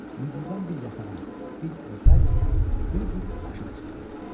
Mücrüdən bir yatağan, bir örpək, bir cüt aşiq çıxdı.